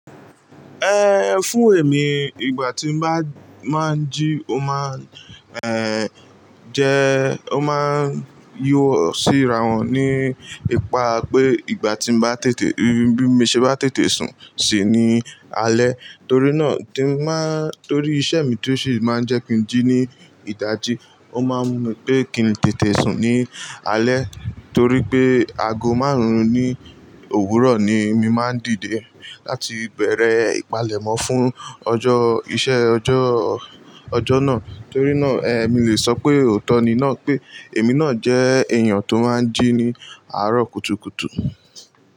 Ehn, fún èmi ìgbà tí mo bá máa ń jí ó má ń, ehn, jẹ́ ó má ń yí ọ síra wọn ní ipa pé ìgbà tí bá tètè, bí mo ṣe bá tètè sùn sí ní alẹ́ torí náà tí ba ń, torí iṣẹ́ mi tí ó ṣì má ń jẹ́ kin jí ní ìda jí ó má ń mú pé kí n tètè sùn ní alẹ́ torí pé aago márùn-ún ní òwúrọ̀ ni mi má ń dìde láti bẹ̀rẹ̀ ìpalẹ̀mọ́ fún ọjọ́ iṣẹ́, ọjọ́, ọjọ́ náà. Torí náà, ehn, mi lè sọ pé òótọ́ ni náà pé èmi náà jẹ́ èèyàn tó má ń jí ní àárọ̀ kùtùkùtù.